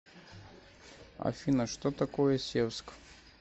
афина что такое севск